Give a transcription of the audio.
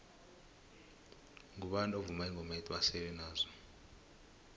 mgubani ovuma ingoma ethi basele nazo